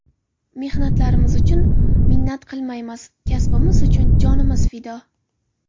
Mehnatlarimiz uchun minnat qilmaymiz, kasbimiz uchun jonimiz fido.